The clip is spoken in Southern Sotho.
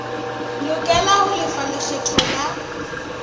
lokela ho lefa lekgetho la